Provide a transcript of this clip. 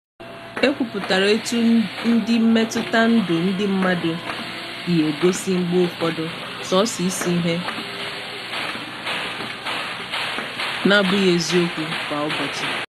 E kwupụtara etu ndị mmetụta ndụ ndị mmadu si egosi mgbe ụfọdụ soso isi ihe, na- abụghị eziokwu kwa ụbọchị.